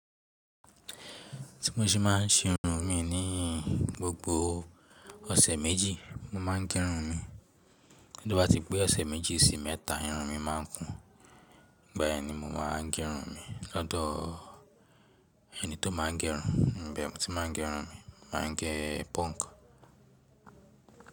Tí mo ṣe má ń si irun mi ní gbogbo ọ̀sẹ̀ méjì mo má ń gẹ irun mi. Nígbàtí pé ọ̀sẹ̀ méjì sí mẹ́ta irun mi má ń kún ígbà yẹn ni mo máa ń gẹ irun mi lọ́dọ̀ ẹni tó má ń gẹ irun. Ibẹ̀ ni mo ti má gẹ irun mi, mo máa ń gẹ punk.